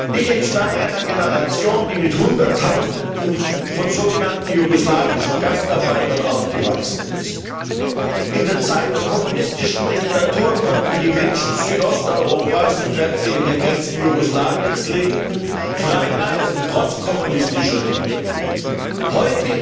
Ich entstamme einer Generation, die mit hunderttausenden von so genannten jugoslawischen Gastarbeitern aufgewachsen ist. In der Zeit der kommunistischen Diktatur konnten die Menschen Südosteuropas, sofern sie in den Grenzen Jugoslawiens lebten trotz kommunistischer Diktatur! frei reisen.